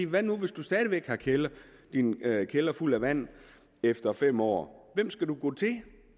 hvad nu hvis du stadig væk har din kælder fuld af vand efter fem år hvem skal du gå til